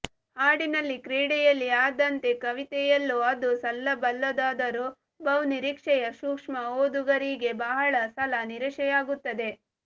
ಹಾಡಿನಲ್ಲಿ ಕ್ರೀಡೆಯಲ್ಲಿ ಆದಂತೆ ಕವಿತೆಯಲ್ಲೂ ಅದು ಸಲ್ಲಬಲ್ಲುದಾದರೂ ಬಹುನಿರೀಕ್ಷೆಯ ಸೂಕ್ಷ್ಮ ಓದುಗರಿಗೆ ಬಹಳ ಸಲ ನಿರಾಸೆಯಾಗುತ್ತದೆ